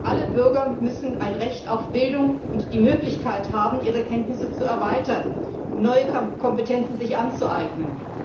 Alle Bürger müssen ein Recht auf Bildung und die Möglichkeit haben, ihre Kenntnisse zu erweitern, um sich neue Kompetenzen anzueignen.